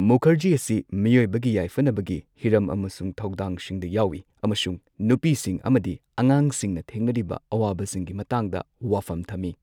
ꯃꯨꯈꯔꯖꯤ ꯑꯁꯤ ꯃꯤꯑꯣꯢꯕꯒꯤ ꯌꯥꯢꯐꯅꯕꯒꯤ ꯍꯤꯔꯝ ꯑꯃꯁꯨꯡ ꯊꯧꯗꯥꯡꯁꯤꯡꯗ ꯌꯥꯎꯏ ꯑꯃꯁꯨꯡ ꯅꯨꯄꯤꯁꯤꯡ ꯑꯃꯗꯤ ꯑꯉꯥꯡꯁꯤꯡꯅ ꯊꯦꯡꯅꯔꯤꯕ ꯑꯋꯥꯕꯁꯤꯡꯒꯤ ꯃꯇꯥꯡꯗ ꯋꯥꯐꯝ ꯊꯝꯃꯤ꯫